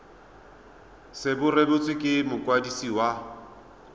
se rebotswe ke mokwadisi wa